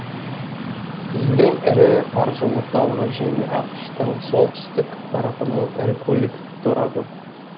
елдің ірі қаржы орталығы және ақш тың солтүстік тарапының ірі көлік торабы